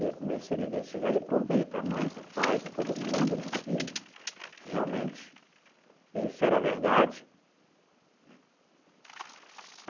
E aí comecei a investigar e provei para a mãe, para o pai, para todo mundo né que realmente isso era verdade né.